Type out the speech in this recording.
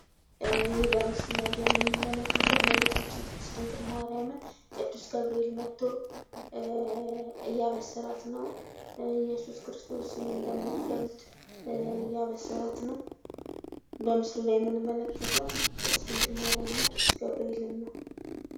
ይህ በምስሉ ላይ የምንመለከተው እመቤታችን ቅድስት ድንግል ማርያምን ቅዱስ ገብርኤል መጦ እያበሰራት ነው ኢየሱስ ክርስቶስን እንደምትወልድ እያበሰራት ነው። በምስሉ ላይ የምንመለከተው ቅድስት ድንግል ማርያምን እና ቅዱስ ገብርኤልን ነው ።